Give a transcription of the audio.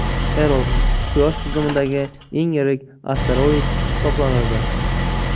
Eros – quyosh tizimidagi eng yirik asteroid hisoblanadi.